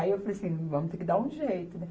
Aí eu falei assim, vamos ter que dar um jeito, né?